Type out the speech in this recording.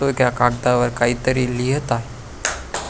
तो त्या कागदावर काही तरी लिहत आहे.